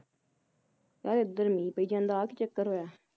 ਯਾਰ ਏਧਰ ਮੀਂਹ ਪਈ ਜਾਂਦਾ ਆ ਕੀ ਚੱਕਰ ਹੋਇਆ